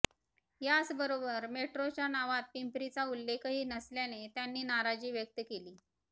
याच बरोबर मेट्रोच्या नावात पिंपरीचा उल्लेखही नसल्याने त्यांनी नाराजी व्यक्त केली